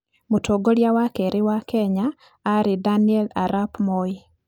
Mũtongoria wa kerĩ wa Kenya aarĩ Daniel arap Moi.